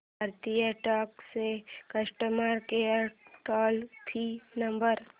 भारतीय डाक चा customer care toll free number